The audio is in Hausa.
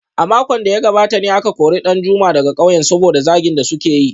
A makon da ya gabata ne aka kori Danjuma daga kauyen saboda zagin da suka yi